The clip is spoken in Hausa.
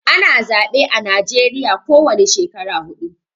Ana zaɓe a najeriya ko wani shekara huɗu